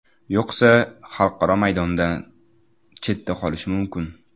Yo‘qsa, xalqaro maydondan chetda qolishi mumkin.